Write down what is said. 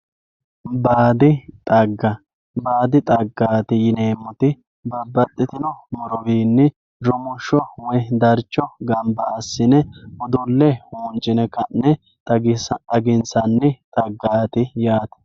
Baadi xagga, baadi xaggati yineemmoti babbaxxitino murowinni rumusho woyi darcho gamba assine udule huncine ka'ne xaginsanni xaggati yaate.